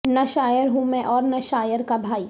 نہ شاعر ہوں میں اور نہ شاعر کا بھائی